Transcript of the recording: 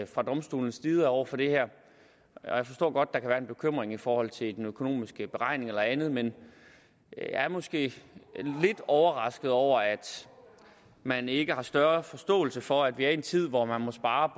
fra domstolenes side over for det her jeg forstår godt kan være en bekymring i forhold til den økonomiske beregning eller andet men jeg er måske lidt overrasket over at man ikke har større forståelse for at vi er i en tid hvor man må spare